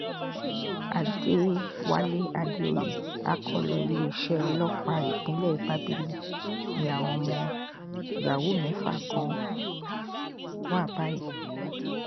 àdẹ̀wálé àdèoyè akọ́lọ iléeṣẹ́ ọlọ́pàá ìpínlẹ̀ bábílì ni àwọn ọmọ yahoo mẹ́fà kan wà báyìí